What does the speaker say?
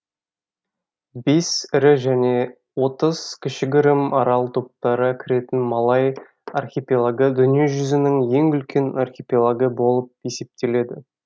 бес ірі және отыз кішігірім арал топтары кіретін малай архипелагы дүниежүзінің ең үлкен архипелагы болып есептеледі